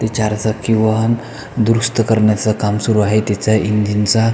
ते चार चाकी व दुरुस्त करण्याच काम सुरु आहे त्याच इंजिन चा.